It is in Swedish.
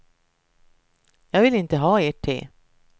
Jag vill inte ha ert te.